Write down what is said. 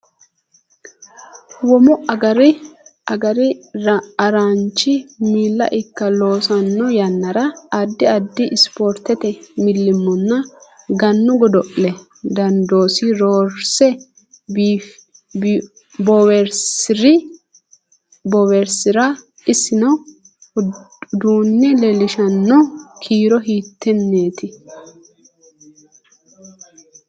Womu agr araanchi miila ikke loosanno yannara addi addi Ispoortete millimmonna Gannu godo’le dandoosi roorse bowirsi’ri, issanno uduunne leellishshanno kiiro hiittenneeti?